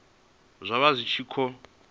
zwa vha zwi tshi khou